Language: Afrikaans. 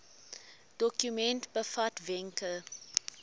dokument bevat wenke